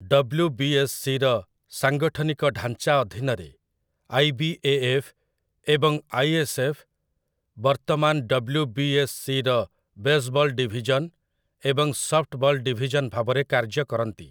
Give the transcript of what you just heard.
ଡବ୍ଲୁ.ବି.ଏସ୍.ସି'ର ସାଂଗଠନିକ ଢାଞ୍ଚା ଅଧୀନରେ, 'ଆଇ.ବି.ଏ.ଏଫ୍.' ଏବଂ 'ଆଇ.ଏସ୍.ଏଫ୍.' ବର୍ତ୍ତମାନ 'ଡବ୍ଲୁ.ବି.ଏସ୍.ସି'ର ବେସ୍‌ବଲ୍ ଡିଭିଜନ୍ ଏବଂ ସଫ୍ଟବଲ୍ ଡିଭିଜନ୍ ଭାବରେ କାର୍ଯ୍ୟ କରନ୍ତି ।